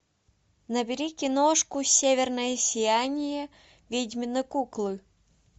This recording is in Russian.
набери киношку северное сияние ведьмины куклы